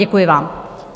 Děkuji vám.